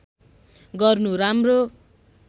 गर्नु राम्रो